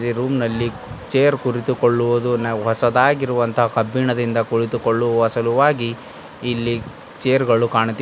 ಈ ರೂಂ ನಲ್ಲಿ ಚೇರ್ ಕುಳಿತುಕೊಳ್ಳುವುದು ಹೊಸದಾಗಿರುವಂತಹ ಕಬ್ಬಿಣದಿಂದ ಕುಳಿತುಕೊಳ್ಳುವ ಸಲುವಾಗಿ ಇಲ್ಲಿ ಚೇರ್ ಗಳು ಕಾಣುತ್ತಿವೆ.